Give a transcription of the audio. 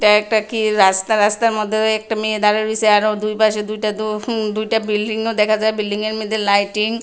একটা কি রাস্তা রাস্তার মধ্যে একটা মেয়ে দাঁড়ায় রইসে আরো দুই পাশে দুইটা দো হম দুইটা বিল্ডিংও দেখা যায় বিল্ডিংয়ের মধ্যে লাইটিং --